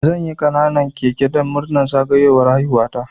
Zanyi ƙananan keke dan murnar zagayowar haihuwa ta